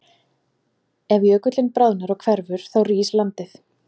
Ef jökullinn bráðnar og hverfur þá rís landið.